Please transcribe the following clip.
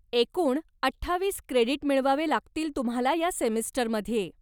एकूण अठ्ठावीस क्रेडीट मिळवावे लागतील तुम्हाला या सेमिस्टरमध्ये.